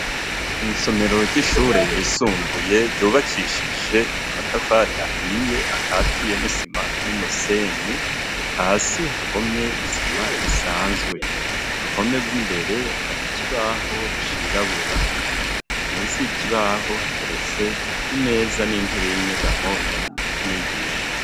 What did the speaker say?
Mwisomero ry'ishure yisumbuye ryubakishije amatafari ahiye akatiye n'isima n'umusenyi hasi hahomye isima isanzwe ku ruhome rw'imbere hari ikibaho cirabura munsi ikibaho hateretse imeza n'intebe y'inyegamo yamwigisha.